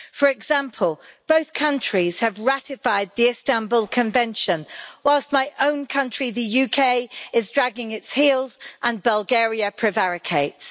For example, both countries have ratified the Istanbul Convention, whilst my own country, the UK, is dragging its heels and Bulgaria prevaricates.